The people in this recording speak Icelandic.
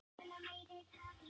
Ég sagði það líka.